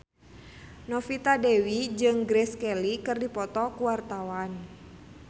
Novita Dewi jeung Grace Kelly keur dipoto ku wartawan